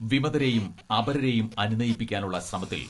വിമതരേയും അപരരേയും അനുനയിപ്പിക്കാനുള്ള ശ്രമത്തിൽ